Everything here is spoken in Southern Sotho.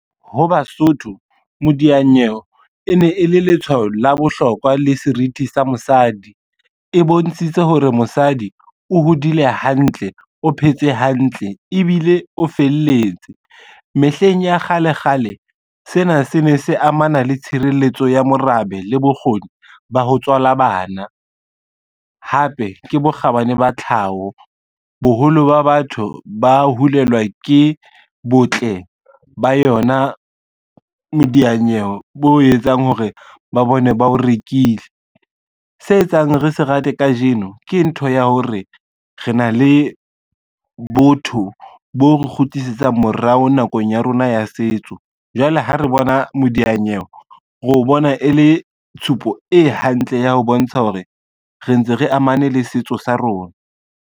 Ho Basotho modianyewe e ne e le letshwao la bohlokwa le serithi sa mosadi, e bontshitse hore mosadi o hodile hantle, o phetse hantle ebile o felletse. Mehleng ya kgale kgale sena se ne se amana le tshireletso ya morabe le bokgoni ba ho tswala bana, hape ke bokgabane ba tlhaho boholo ba batho ba ho hulelwa ke botle ba yona modianyewe bo etsang hore ba bone ba o rekile. Se etsang re se rate kajeno ke ntho ya hore, re na le botho bo kgutlisetsa morao nakong ya rona ya setso, jwale ha re bona modianyewe ro bona e le tshupo e hantle ya ho bontsha hore re ntse re amane le setso sa rona.